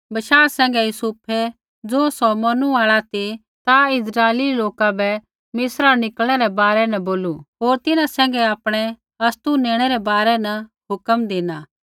बशाह सैंघै यूसुफै ज़ैबै सौ मौरनू आल़ा ती ता इस्राइली लोका बै मिस्रा न निकलणै रै बारै न बोलू होर तिन्हैं सैंघै आपणै अस्तु नेणै रै बारै न हुक्म धिना